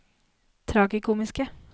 tragikomiske